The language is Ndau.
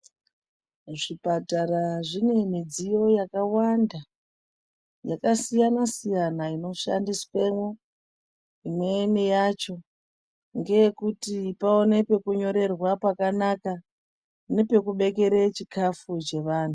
Zvipatara zvine midziyo yakawanda yakasiyana siyana inoshandiswemo imweni yacho ngeyekuti paonekwe pekunyorerwa pakanaka nepekuubekera chikafu chevanhu.